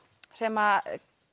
sem